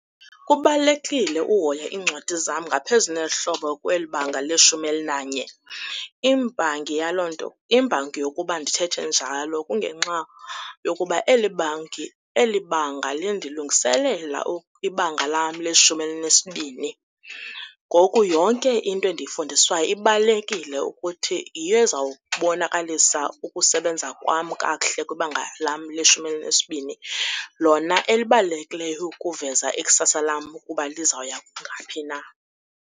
Kubalulekile uhoya iincwadi zam ngaphezu nezihlobo kweli banga leshumi elinanye, imbangi yaloo nto, imbangi yokuba ndithethe njalo kungenxa yokuba eli banga lindilungiselela ibanga lam leshumi elinesibini. Ngoku yonke into endiyifundiswayo ibalulekile ukuthi yiyo ezawubonakalisa ukusebenza kwam kakuhle kwibanga lam leshumi elinesibini lona elibalulekileyo ukuveza ikusasa lam ukuba lizawuya ngaphi na.